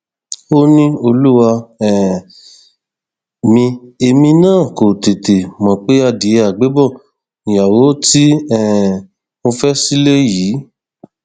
ó ní olúwa um mi èmi náà kò tètè mọ pé adìẹ àgbébọ nìyàwó tí um mo fẹ sílẹ yìí